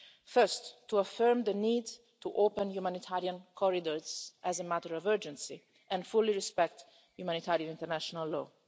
First, to affirm the need to open humanitarian corridors as a matter of urgency and fully respect humanitarian international law.